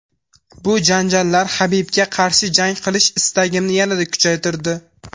Bu janjallar Habibga qarshi jang qilish istagimni yanada kuchaytirdi.